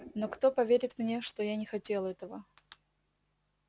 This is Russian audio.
но кто поверит мне что я не хотел этого